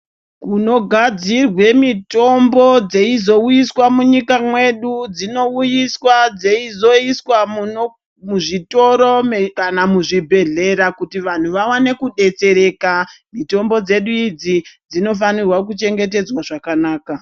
Kunogadzirwe mitombo dzeizouyiswa munyika mwedu dzinouyiswa dzeizoiswa muzvitoro kana muzvibhedhlera kuti vanthu vawane kudetsereka mitombo dzedu idzi dzinofanirwa kuchengetedzwa zvakanaka.